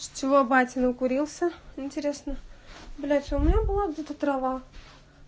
всего батин укурился интересно блять у меня была трава